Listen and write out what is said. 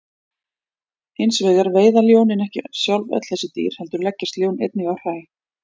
Hins vegar veiða ljónin ekki sjálf öll þessi dýr heldur leggjast ljón einnig á hræ.